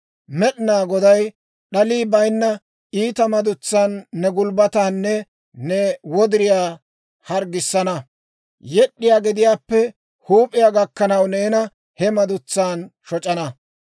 Med'inaa Goday d'alii bayinna iita madutsan ne gulbbataanne ne wodiriyaa harggissana; yed'd'iyaa gediyaappe huup'iyaa gakkanaw, neena he madutsan shoc'ana.